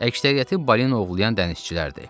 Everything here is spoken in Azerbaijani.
Əksəriyyəti balina ovlayan dənizçilər idi.